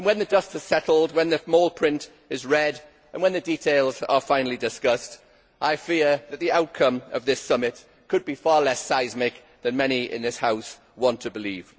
When the dust has settled, the small print is read and the details are finally discussed, I fear that the outcome of this summit could be far less seismic than many in this House want to believe.